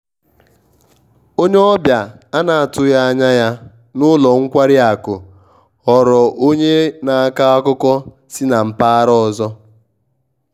onye ọbịa a na-atụghị anya ya n`ụlọ nkwari akụ ghọrọ onye na-akọ akụkọ si na mpaghara ọzọ